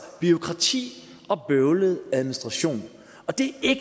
bureaukrati og bøvlet administration og det er